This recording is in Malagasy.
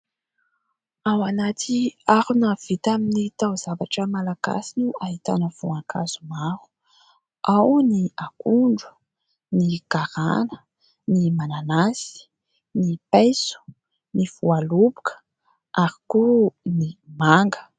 Ao anaty harona vita amin'ny tao-zavatra malagasy no ahitana voankazo maro : ao ny akondro, ny garana ny mananasy, ny paiso, ny voaloboka ary koa ny manga.